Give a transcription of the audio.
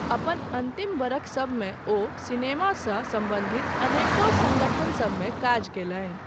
अपन अन्तिम बरखसभमे ओ सिनेमासँ सम्बन्धित अनेको सङ्गठनसभमे काज कयलनि।